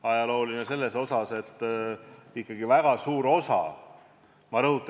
Ajalooline selles mõttes, et ikkagi väga suur osa rahast tuleb Euroopa Liidust.